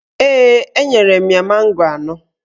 Ee, enyere m ya mango anọ